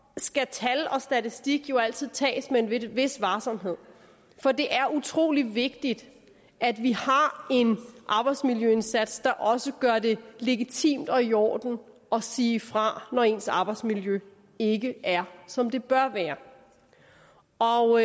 skal tal og statistik jo altid tages med en vis varsomhed for det er utrolig vigtigt at vi har en arbejdsmiljøindsats der også gør det legitimt og i orden at sige fra når ens arbejdsmiljø ikke er som det bør være og